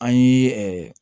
An ye ɛɛ